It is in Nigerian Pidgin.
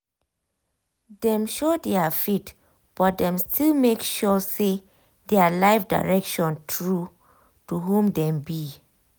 dem show their faith but dem still make sure say their life direction true to who dem be.